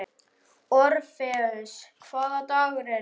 Orfeus, hvaða dagur er í dag?